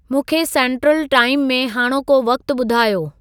मूंखे सेंट्रलु टाइम में हाणोको वक़्तु ॿुधायो